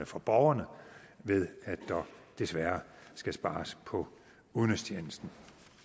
for borgerne ved at der desværre skal spares på udenrigstjenesten